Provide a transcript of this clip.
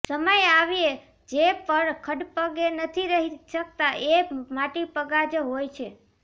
સમય આવ્યે જે ખડેપગે નથી રહી શકતા એ માટીપગા જ હોય છે